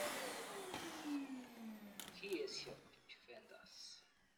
Kiiesio Juventus.